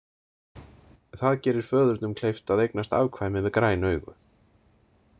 Það gerir föðurnum kleyft að eignast afkvæmi með græn augu.